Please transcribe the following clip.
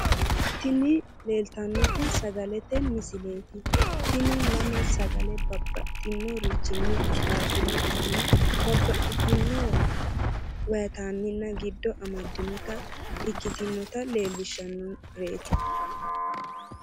tini leelltannoti sagalete misileeti, tini lame sagale babbaxxinorichinni qixxaabbinota babbaxino vaaytammina giddo amaddinota ikkitinota leellishshannoreeti.